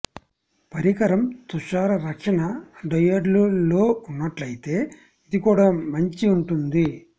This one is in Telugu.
పరికరం తుషార రక్షణ డయోడ్లు లో ఉన్నట్లయితే ఇది కూడా మంచి ఉంటుంది